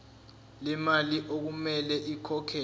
lemali okumele ikhokhelwe